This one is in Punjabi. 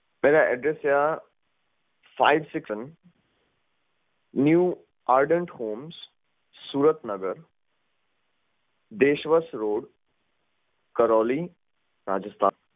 ਮੇਰਾ address ਹੈ five six sevennew ardt home Surat Nagar Desh Bhagat road Karauli Rajasthan